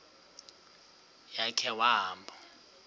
ya khe wahamba